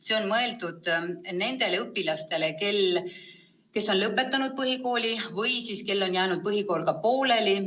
See on mõeldud nendele õpilastele, kes on lõpetanud põhikooli või kellel on jäänud põhikool pooleli.